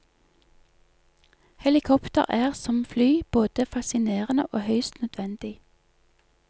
Helikopter er, som fly, både fascinerende og høyst nødvendig.